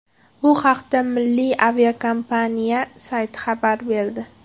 Bu haqda milliy aviakompaniya sayti xabar berdi .